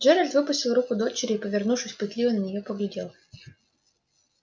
джералд выпустил руку дочери и повернувшись пытливо на неё поглядел